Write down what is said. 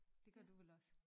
Det gør du vel også?